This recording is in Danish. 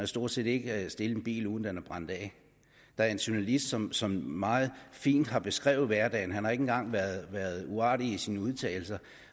stort set ikke stille en bil uden at den bliver brændt af der er en journalist som som meget fint har beskrevet hverdagen han har ikke engang været uartig i sine udtalelser